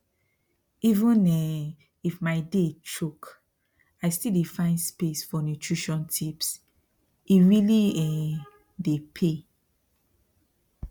even um if my day choke i still dey find space for nutrition tipse really um dey pay